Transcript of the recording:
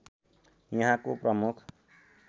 यहाँको प्रमुख